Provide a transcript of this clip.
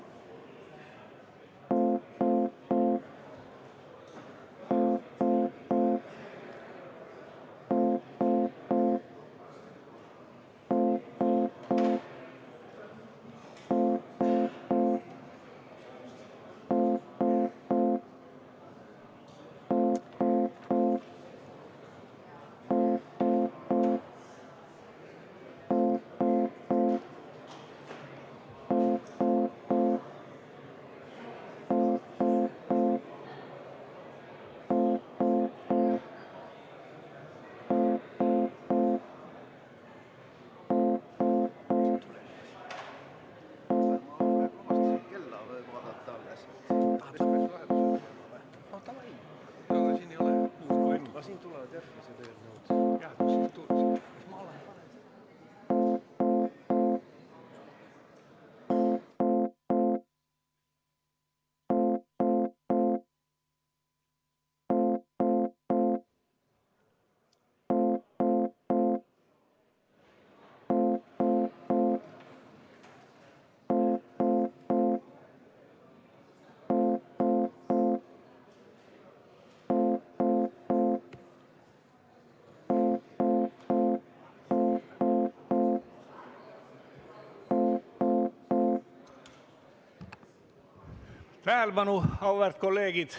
Tähelepanu, auväärt kolleegid!